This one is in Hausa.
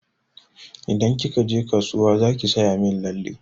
Idan kika je kasuwa zaki saya min lalle.